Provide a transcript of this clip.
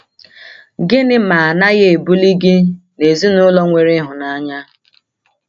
Gịnị ma a naghị ebuli gị n’ezinụlọ nwere ịhụnanya?